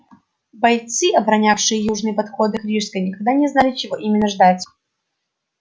бойцы оборонявшие южные подходы к рижской никогда не знали чего именно ждать